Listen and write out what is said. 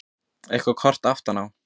Eitthvert krot aftan á.